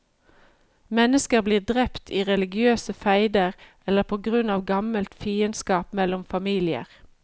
Mennesker blir drept i religiøse feider eller på grunn av gammelt fiendskap mellom familier.